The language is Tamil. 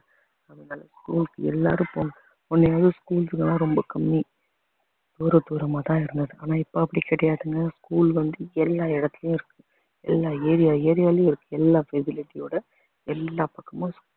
school க்கு எல்லாரும் போக~ முன்னயாவது schools லாம் ரொம்ப கம்மி தூர தூரமாதான் இருந்தது ஆனா இப்ப அப்படி கிடையாதுங்க school வந்து எல்லா இடத்திலேயும் இருக்கு எல்லா area area விலேயும் இருக்கு எல்லா facility யோட எல்லா பக்கமும்